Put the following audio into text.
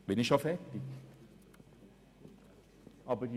Bin ich schon fertig mit der Redezeit?